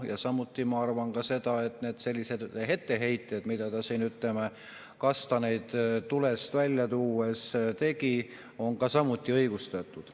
Ja samuti ma arvan seda, et need etteheited, mida ta siin, ütleme, kastaneid tulest välja tuues tegi, on samuti õigustatud.